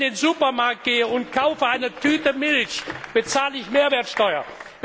Wenn ich in den Supermarkt gehe und kaufe eine Tüte Milch, bezahle ich Mehrwertsteuer.